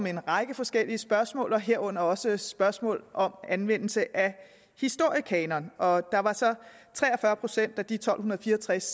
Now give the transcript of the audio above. en række forskellige spørgsmål herunder også spørgsmål om anvendelse af historiekanonen og der var så tre og fyrre procent af de tolv fire og tres